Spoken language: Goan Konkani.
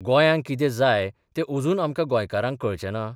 गोंयांक कितें जाय तें अजून आमकां गौंयकारांक कळचें ना?